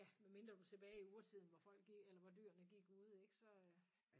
Ja medmindre du er tilbage i urtiden hvor folk eller hvor dyrene gik ude ikke så